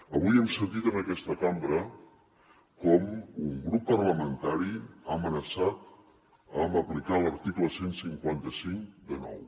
avui hem sentit en aquesta cambra com un grup parlamentari ha amenaçat amb aplicar l’article cent i cinquanta cinc de nou